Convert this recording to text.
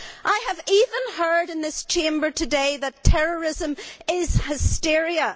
I have even heard in this Chamber today that terrorism is hysteria.